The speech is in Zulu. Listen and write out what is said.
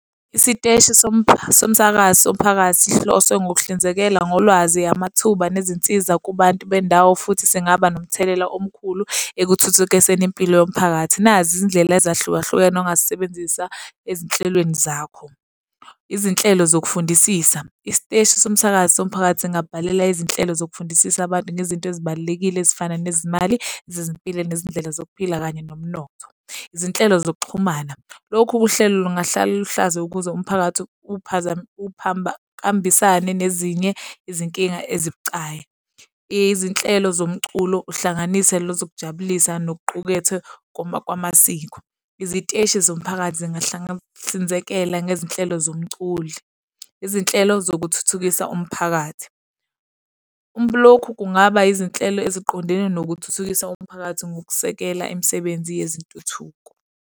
Isiteshi somsakazo somphakathi sihloswe ngokuhlinzekela ngolwazi, amathuba nezinsiza kubantu bendawo futhi singaba nomthelela omkhulu ekuthuthukiseni impilo yomphakathi. Nazi izindlela ezahlukahlukene ongazisebenzisa ezinhlelweni zakho. Izinhlelo zokufundisisa. Isiteshi somsakazo somphakathi singabhalela izinhlelo zokufundisisa abantu ngezinto ezibalulekile ezifana nezimali, zezimpilo nezindlela zokuphila, kanye nomnotho. Izinhlelo zokuxhumana. Lokhu uhlelo lungahlala luhlaza ukuze umphakathi uhambisane nezinye izinkinga ezibucayi. Izinhlelo zomculo uhlanganiselo zokujabulisa nokuqukethwe kwamasiko. Iziteshi zomphakathi zingahlinzekela ngezinhlelo zomculi. Izinhlelo zokuthuthukisa umphakathi. Lokhu kungaba izinhlelo eziqondene nokuthuthukisa komphakathi, ngokusekela imisebenzi yezintuthuko.